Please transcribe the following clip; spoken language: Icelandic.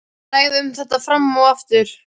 Þær ræða um þetta fram og aftur.